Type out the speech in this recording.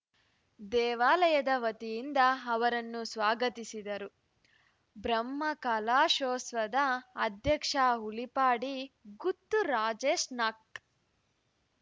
ದೇವಾಲಯದ ವತಿಯಿಂದ ಅವರನ್ನು ಸ್ವಾಗತಿಸಿದರು ಬ್ರಹ್ಮಕಲಶೋತ್ಸವದ ಅಧ್ಯಕ್ಷ ಉಳಿಪಾಡಿ ಗುತ್ತು ರಾಜೇಶ್ ನಾಕ್